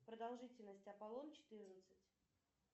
продолжительность аполлон четырнадцать